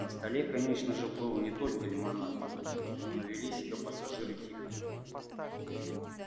на столе конечно же был не только лимонад но вели себя пассажиры тихо